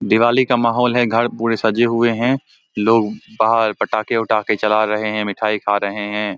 दिवाली का माहौल है घर पूरे सजे हुए हैं लोग बाहर पटाखे उठाके जला रहे हैं मिठाई खा रहे हैं।